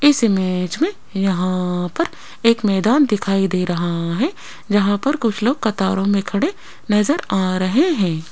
इस इमेज में यहां पर एक मैदान दिखाई दे रहा है जहां पर कुछ लोग कतारों में खड़े नजर आ रहे हैं।